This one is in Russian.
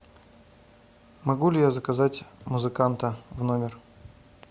могу ли я заказать музыканта в номер